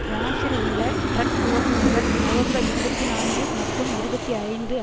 பிரான்சில் உள்ள டிரக் ஓட்டுநர்கள் நவம்பர் இருபத்தி நான்கு மற்றும் இருபத்தி ஐந்து